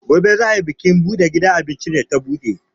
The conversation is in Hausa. Gobe za ai bikin buɗe gidan abincin da ta buɗe.